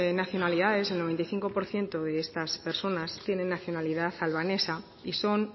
nacionalidades el noventa y cinco por ciento de estas personas tienen nacionalidad albanesa y son